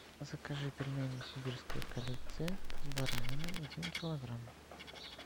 закажи пельмени сибирская коллекция с бараниной один килограмм